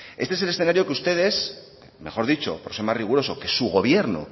este es el escenario que ustedes mejor dicho por ser más riguroso que su gobierno